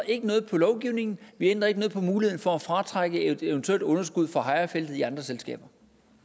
ikke noget på lovgivningen vi ændrer ikke noget på muligheden for at fratrække et eventuelt underskud fra hejrefeltet i andre selskaber